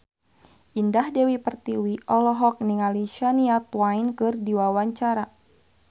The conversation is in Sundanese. Indah Dewi Pertiwi olohok ningali Shania Twain keur diwawancara